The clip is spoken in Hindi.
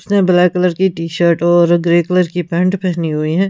इसने ब्लैक कलर की टी-शर्ट और ग्रे कलर की पैंट पहनी हुई है।